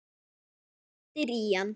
Glittir í hann.